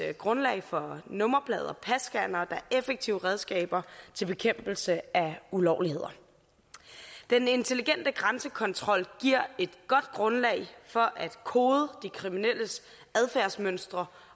grundlag for nummerplade og passcannere der er effektive redskaber til bekæmpelse af ulovligheder den intelligente grænsekontrol giver et godt grundlag for at kode de kriminelles adfærdsmønstre